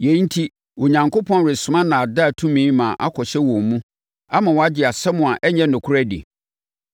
Yei enti, Onyankopɔn resoma nnaadaa tumi ma akɔhyɛ wɔn mu ama wɔagye nsɛm a ɛnyɛ nokorɛ adi.